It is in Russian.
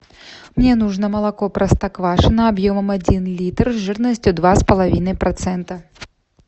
мне нужно молоко простоквашино объемом один литр жирностью два с половиной процента